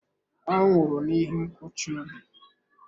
Ọ nwụrụ n'ihi nkụchi obi.